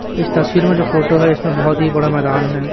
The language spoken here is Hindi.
इस तस्वीर में जो फोटो है इसमें बहोत ही बड़ा मैदान है।